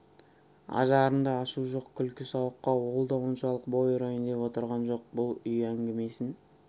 ажарында ашу жоқ күлкі сауыққа ол да оншалық бой ұрайын деп отырған жоқ бұл үй әңгімесін